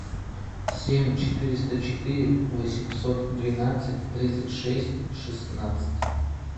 семь четыреста четыре восемьсот двенадцать тридцать шесть шестнадцать